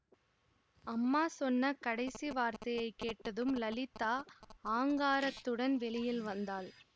அம்மா சொன்ன கடைசி வார்த்தையை கேட்டதும் லலிதா ஆங்காரத்துடன் வெளியில் வந்தாள்